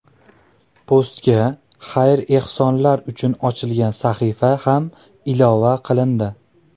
Postga xayr-ehsonlar uchun ochilgan sahifa ham ilova qilindi.